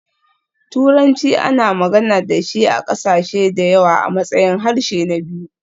Turanci ana magana da shi a ƙasashe da yawa a matsayin harshe na biyu.